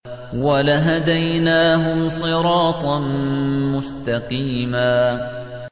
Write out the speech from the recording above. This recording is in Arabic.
وَلَهَدَيْنَاهُمْ صِرَاطًا مُّسْتَقِيمًا